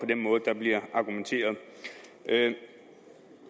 den måde der bliver argumenteret